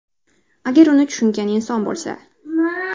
Agar uni tushungan inson bo‘lsa.